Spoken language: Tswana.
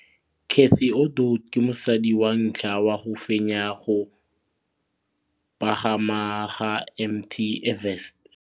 Cathy Odowd ke mosadi wa ntlha wa go fenya go pagama ga Mt Everest.